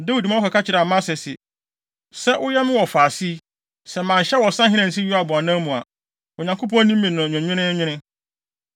Dawid ma wɔkɔka kyerɛɛ Amasa se, “Sɛ woyɛ me wɔfaase yi, sɛ manyɛ wo ɔsahene ansi Yoab anan mu a, Onyankopɔn ne me nni no nwenweenwen.”